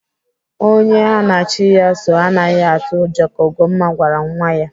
Onye ha na chi ya soo anaghị atụ ụjọ ka Ugomma gwara nwa ya.